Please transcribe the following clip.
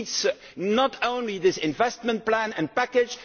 We need not only this investment plan and package